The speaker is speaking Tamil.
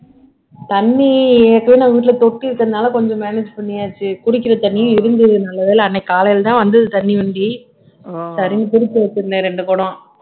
தண்ணி எப்பயுமே வீட்டுல தொட்டி இருக்கறதுனால கொஞ்சம் manage பண்ணியாச்சு குடிக்கிற தண்ணியும் இருந்தது நல்லவேளை அன்னைக்கு காலைல தான் வந்தது தண்ணி வண்டி சரின்னு பிடிச்சு வச்சிருந்தேன் ரெண்டு குடம்